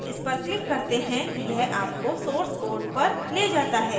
जब आप इस पर click करते हैं यह आपको source code पर ले जाता है